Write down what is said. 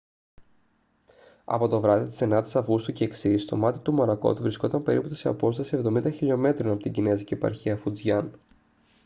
από το βράδυ της 9ης αυγούστου και εξής το μάτι του μορακότ βρισκόταν περίπου σε απόσταση εβδομήντα χιλιομέτρων από την κινεζική επαρχία φουτζιάν